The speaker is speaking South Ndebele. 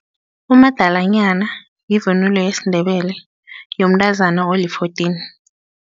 Umadalanyana yivunulo yesiNdebele yomntazana oli-fourteen.